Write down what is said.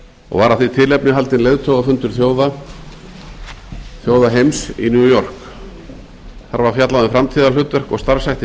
og var af því tilefni haldinn leiðtogafundur þjóða heims í new york þar var fjallað um framtíðarhlutverk og starfshætti